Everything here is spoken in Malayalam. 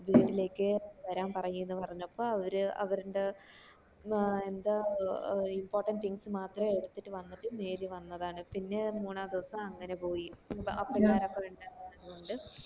വീട്ടിലേക്ക് വരൻ പറയ്‌ ന്നു പറഞ്ഞപ്പോ അവര് അവര്ന്റെ ആഹ് എന്താ ഏർ importand things മാത്രം എടുത്തിട്ട് വന്നിട്ട് നേരി വന്നതാണ് പിന്നെ മൂന്നു ധിവാസയോ അങ്ങനെ പോയി അപ്പോള് അയാൾ ണ്ടത് കൊണ്ട്